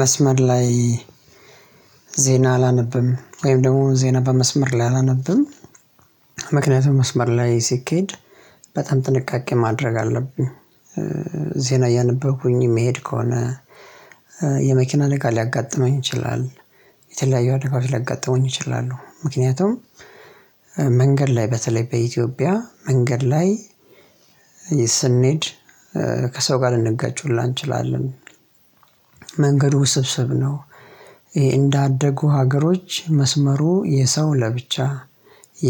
መስመር ላይ ዜና አላነብም ወይም ደግሞ ዜና በመስመር ላይ አላነብንም። ምክንያቱም መስመር ላይ ሲኬድ በጣም ጥንቃቄ ማድረግ አለብኝ። ዜና እያነበብኩኝ የሚሄድ ከሆነ የመኪና አደጋ ሊያጋጥመኝ ይችላል። የተለያዩ አደጋዎች ሊያጋጥመኝ ይችላሉ ምክንያቱም። መንገድ ላይ በተለይ በኢትዮጵያ መንገድ ላይ ስንሄድ ከሰው ጋር ልንገጭ ሁላ እንችላለን። መንገድ ውስብስብ ነው። እንዳደጉ ሀገሮች መስመሩ የሰው ለብቻ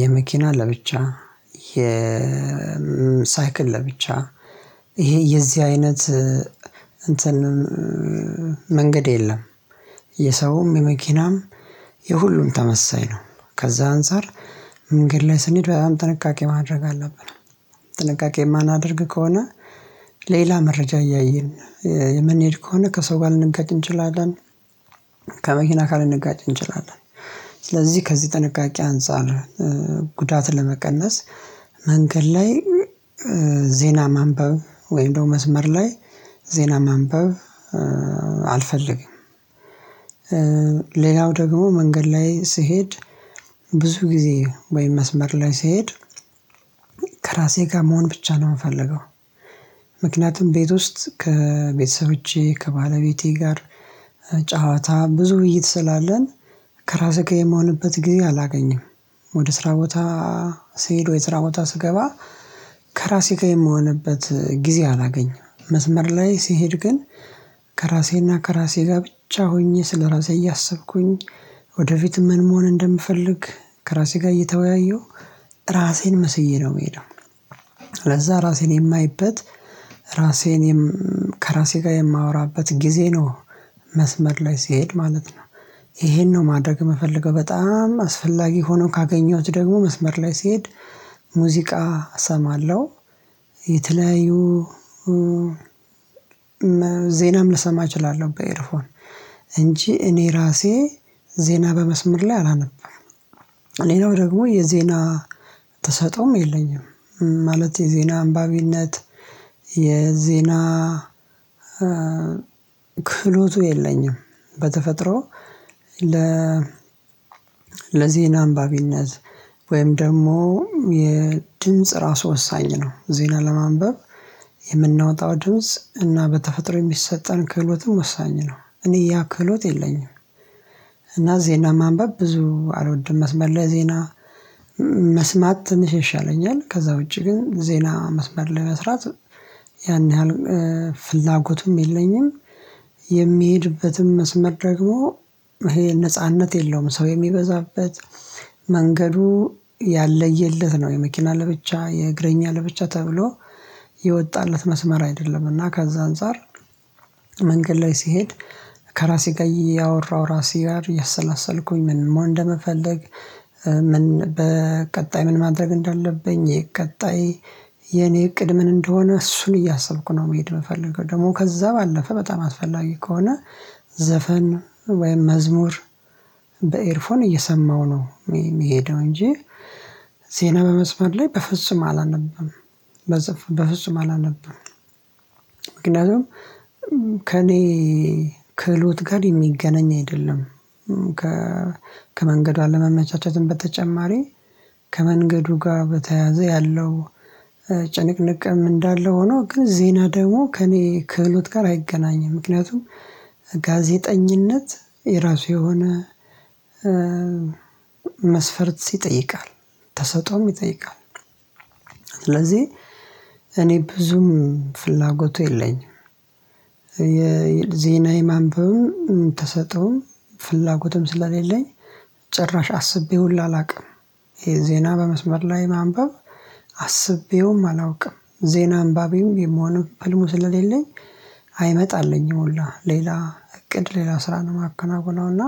የመኪና ለብቻ የ ሳይክል ለብቻ ይሄ የዚህ አይነት እንትን መንገድ የለም። የሰውም የመኪናም የሁሉም ተመሳሳይ ነው። ከዛ አንፃር መንገድ ላይ ስንሄድ በጣም ጥንቃቄ ማድረግ አለብን። ጥንቃቄ የማናደርግ ከሆነ ሌላ መረጃ እያየን የምንሄድ ከሆነ ከሰው ጋር ልንገጥ እንችላለን። ከመኪና ካልንገጥ እንችላለን። ስለዚህ ከዚህ ጥንቃቄ አንፃር ጉዳት ለመቀነስ መንገድ ላይ ዜና ማንበብ ወይም ደግሞ መስመር ላይ ዜና ማንበብ አልፈልግም። ሌላው ደግሞ መንገድ ላይ ስሄድ ብዙ ጊዜ ወይም መስመር ላይ ስሄድ ከራሴ ጋር መሆን ብቻ ነው የምፈልገው። ምክንያቱም ቤት ውስጥ ከቤተሰብቼ ከባለቤቴ ጋር ጨዋታ ብዙ ውይይት ስላለን ከራስህ የምሆንበት ጊዜ አላገኘም። ወደ ስራ ቦታ ስሄድ ወደ ስራ ቦታ ስገባ ከራሴ ጋር የምሆንበት ጊዜ አላገኝም። መስመር ላይ ሲሄድ ግን ከራሴና ከራሴ ጋር ብቻ ሆኜ ስለራሴ እያሰብኩኝ ወደፊት ምን መሆን እንደምፈልግ ከራሴ ጋር እየተወያየሁ ራሴን መስዬ ነው የምሄደው። ለዛ ራሴን የማይበት ራሴን ከራሴ ጋር የማወራበት ጊዜ ነው። መስመር ላይ ስሄድ ማለት ነው። ይሄን ነው ማድረግ የምፈልገው በጣም አስፈላጊ ሆኖ ካገኘሁት ደግሞ መስመር ላይ ሲሄድ ሙዚቃ እሰማለሁ። የተለያዩ ዜናም ልሰማ እችላለሁ በኤርፎን እንጂ እኔ ራሴ ዜና በመስመር ላይ አላነብም። እኔ ነው ደግሞ የዜና ትሰጠውም የለኝም ማለት የዜና አንባቢነት የዜና ክፍህሎቱ የለኝም። በተፈጥሮ ለ ለዜና አንባቢነት ወይም ደግሞ የድምጽ ራሱ ወሳኝ ነው ዜና ለማንበብ የምናወጣው ድምጽ እና በተፈጥሮ የሚሰጠን ክህሎትም ወሳኝ ነው እኔ ያ ክህሎት የለኝም። እና ዜና ማንበብ ብዙ አልወድም። መስመር ለዜና መስማት ትንሽ ይሻለኛል። ከዛ ውጪ ግን ዜና መስመር መስራት ያን ያህል ፍላጎቱም የለኝም። የሚሄድበትም መስመር ደግሞ ይሄ ነጻነት የለውም ሰው የሚበዛበት መንገዱ ያለየለት ነው። የመኪና ለብቻ የእግረኛ ለብቻ ተብሎ የወጣለት መስመር አይደለም። እና ከዛ አንፃር መንገድ ላይ ሲሄድ ከራሴ ጋር ያወራው ራሴ ጋር ያሰላሰልኩኝ ምን እንደምፈልግ። በቀጣይ ምን ማድረግ እንዳለብኝ የቀጣይ የኔ እቅድ ምን እንደሆነ እሱን እያሰብኩ ነው። መሄድ የምፈልገው ደግሞ ከዛ ባለፈ በጣም አስፈላጊ ከሆነ ዘፈን ወይም መዝሙር በኤርፎን እየሰማው ነው የሚሄደው እንጂ። ዜና በመስመር ላይ በፍጹም አላነብም። በፍጹም አላነበምም አላነብም ምክንያቱም ከእኔ ክህሎት ጋር የሚገናኝ አይደለም። ከመንገድ አለመመቻቻትን በተጨማሪ ከመንገዱ ጋር በተያያዘ ያለው ጭንቅንቅም እንዳለ ሆኖ ግን ዜና ደግሞ ከእኔ ክህሎት ጋር አይገናኝም። ምክንያቱም ጋዜጠኝነት የራሱ የሆነ መስፈርት ይጠይቃል ተሰጥኦም ይጠይቃል። ስለዚህ እኔ ብዙም ፍላጎቱ የለኝም። የዜና የማንበብም ተሰጥኦም ፍላጎትም ስለሌለኝ ጭራሽ አስቤውልኝ አላውቅም። ዜና በመስመር ላይ ማንበብ አስቤውም አላውቅም ዜና አንባቤም የምሆነው ህልሙ ስለሌለኝ አይመጣልኝም። ሁላ ሌላ እቅድ ሌላ ስራን ማከናገል ነውና።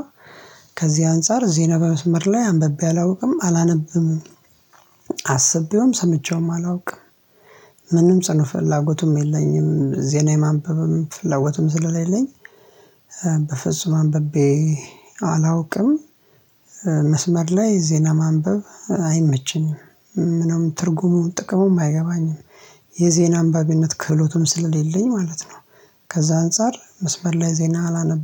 ከዚህ አንፃር ዜና በመስመር ላይ አንብቤ አላውቅም አላነብም። አስቤውም ሰምቼውም አላውቅም። ምንም ጽኑ ፈላጎቱም የለኝም ዜና የማንበብም ፍላጎቱም ስለሌለኝ በፍጹም አንብቤ አላውቅም። መስመር ላይ ዜና ማንበብ አይመችም ምንም ትርጉሙ ጥቅሙም አይገባኝም የዜና አንባቢነት ክህሎቱም ስለሌለኝ ማለት ነው። ከዛ አንፃር መስበር ላይ ዜና አላነበም